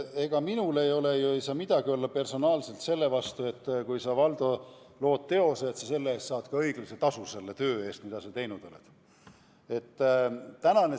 Ega minul ei ole ega saa ju midagi olla personaalselt selle vastu, kui sa, Valdo, lood teose ja saad ka õiglase tasu selle töö eest, mida sa oled teinud.